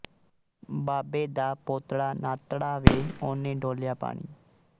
ਬਾਬੇ ਦਾ ਪੋਤੜਾ ਨ੍ਹਾਤੜਾ ਵੇ ਉਹਨੇ ਡੋਲਿਆ ਪਾਣੀ